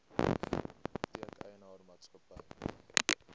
apteek eienaar maatskappy